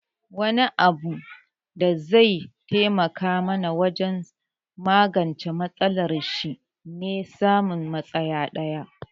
Wani abu da zai taimaka mana wajen magance matsalar shi ne samun matsaya daya